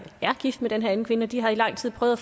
er gift med den her anden kvinde og de havde i lang tid prøvet